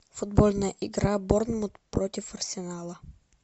футбольная игра борнмут против арсенала